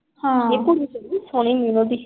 ਹਾਂ।